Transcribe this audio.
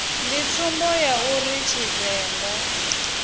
ndi tsumbo ya uri tshivenḓa